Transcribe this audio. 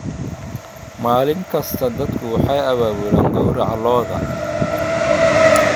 Maalin kasta, dadku waxay abaabulaan gowraca lo'da.